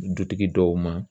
Dutigi dɔw ma